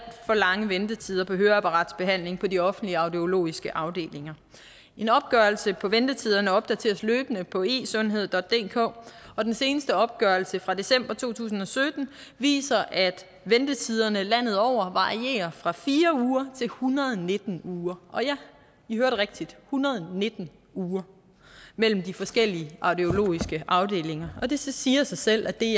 for lange ventetider på høreapparatsbehandling på de offentlige audiologiske afdelinger en opgørelse ventetiderne opdateres løbende på esundheddk og den seneste opgørelse fra december to tusind og sytten viser at ventetiderne landet over varierer fra fire uger til en hundrede og nitten uger ja i hørte rigtigt en hundrede og nitten uger mellem de forskellige audiologiske afdelinger og det siger sig selv at det